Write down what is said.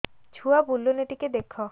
ଛୁଆ ବୁଲୁନି ଟିକେ ଦେଖ